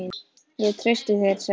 Ég treysti þér sagði hún.